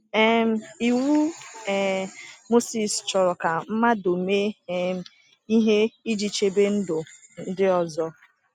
um Iwu um Mosis chọrọ ka mmadụ mee um ihe iji chebe ndụ ndị ọzọ.